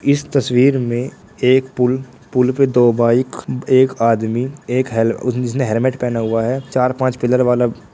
इस तस्वीर में एक पुल पुल पे दो बाइक एक आदमी एक हैल जिसने हैलमेट पहना हुआ है चार-पांच पिलर वाला--